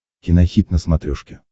кинохит на смотрешке